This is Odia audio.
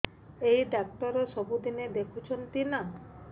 ଏଇ ଡ଼ାକ୍ତର ସବୁଦିନେ ଦେଖୁଛନ୍ତି ନା